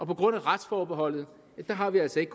på grund af retsforbeholdet har vi altså ikke